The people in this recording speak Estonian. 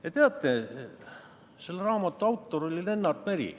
Ja teate, selle autor oli Lennart Meri.